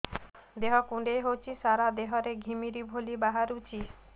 ଦେହ କୁଣ୍ଡେଇ ହେଉଛି ସାରା ଦେହ ରେ ଘିମିରି ଭଳି ବାହାରୁଛି